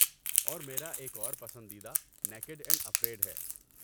اور میرا ایک اور پسندیدہ نیکیڈ اینڈ اَفریڈ ہے۔